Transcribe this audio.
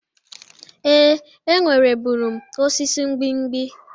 Ee, enwerebụrụ m osisi mgbimgbi.